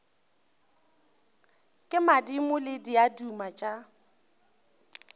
ke madimo le diaduma tša